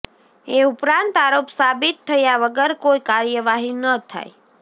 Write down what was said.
એ ઉપરાંત આરોપ સાબિત થયા વગર કોઈ કાર્યવાહી ન થાય